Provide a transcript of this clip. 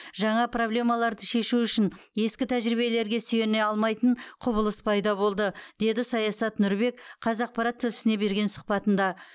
жаңа проблемаларды шешу үшін ескі тәжірибелерге сүйене алмайтын құбылыс пайда болды деді саясат нұрбек қазақпарат тілшісіне берген сұхбатында